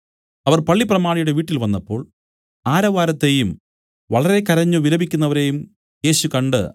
അവർ പള്ളിപ്രമാണിയുടെ വീട്ടിൽ വന്നപ്പോൾ ആരവാരത്തെയും വളരെ കരഞ്ഞു വിലപിക്കുന്നവരെയും യേശു കണ്ട്